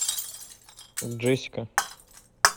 джессика